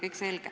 Kõik selge.